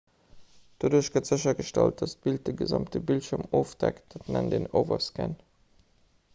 doduerch gëtt séchergestallt datt d'bild de gesamte bildschierm ofdeckt dat nennt een overscan